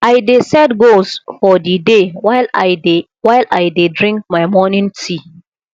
i dey set goals for the day while i dey while i dey drink my morning tea